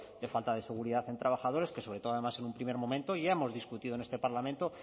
de falta de seguridad en trabajadores que sobre todo además en un primer momento ya hemos discutido en este parlamento